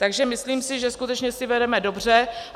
Takže myslím si, že skutečně si vedeme dobře.